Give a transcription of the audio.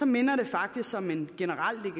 minder det faktisk om en generel